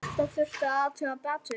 Þetta þurfti að athuga betur.